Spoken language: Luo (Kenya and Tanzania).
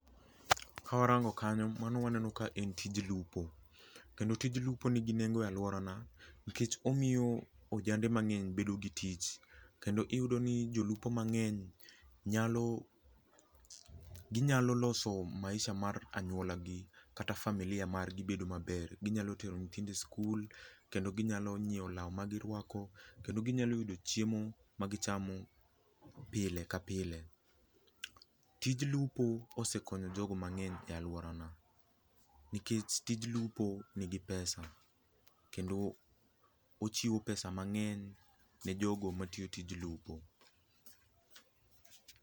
Ka warango kanyo mano waneno ka en tij lupo, kendo tij lupo nigi nengo e aluora na nikech omiyo ojande mangeny nigi tich kendo iyudo ni jolupo mangeny nyalo, ginyalo loso maisha mar anyuola gi kata familia margi bedo maber, ginyalo tero nyithindo skul kendo ginyalo nyiew lao magiruako kendo ginyalo yudo chiemo magichamo pile ka pile. Tij lupo osekonyo jogo mangeny e aluora na nikech tij lupo nigi pesa kendo ochiwo pesa mangeny ne jogo matiyo tij lupo